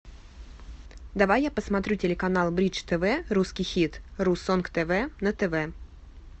давай я посмотрю телеканал бридж тв русский хит ру сонг тв на тв